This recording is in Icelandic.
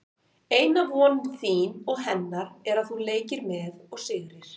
Eina von þín og hennar er að þú leikir með og sigrir.